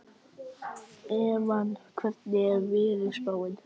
Evan, hvernig er veðurspáin?